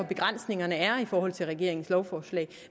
begrænsningerne er i forhold til regeringens lovforslag